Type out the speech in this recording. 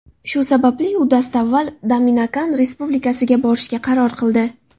Shu sababli u dastavval Dominikan Respublikasiga borishga qaror qildi.